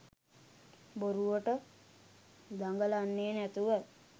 බොරුවට දගලන්නේ නැතුව